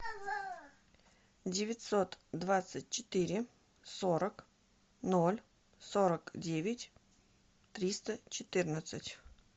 девятьсот двадцать четыре сорок ноль сорок девять триста четырнадцать